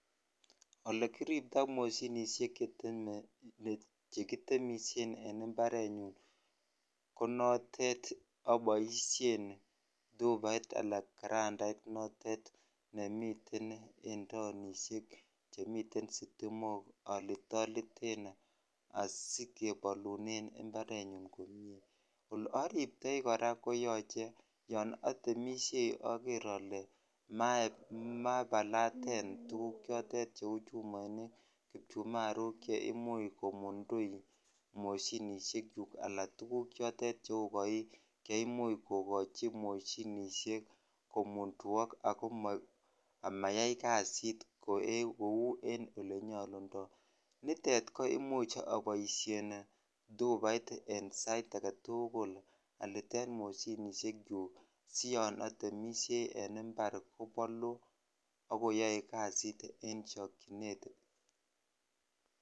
Okekiriptoi moshinishek chekitemushen en imparenyun ko notet aboisien tubait ala karandait notet chemiten en taonishek chemiten sitimokalitoliten sikebolunen imparet nyun komie ole ariptoi korayon etemishei oker ole mabalaten tuguk cheu chumoinik kipchumaruk cheimuch komundui ala tuguk choton cheu koik che imuch kokochi moshinishek komunfuok komayai kasit kou en olenyolundoi nitet koimuch aboishen tubait en sait agetukul alien mushinish chuk si yan atemishei en impar kobolu ak koyoe kasit en chokchinet.